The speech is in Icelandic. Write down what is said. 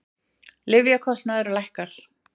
Lyfjakostnaður lækkar